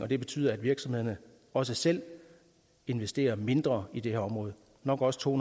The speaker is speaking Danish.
det betyder at virksomheder også selv investerer mindre i det her område nok også to